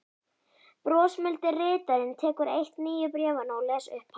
Brosmildi ritarinn tekur eitt nýju bréfanna og les upphátt: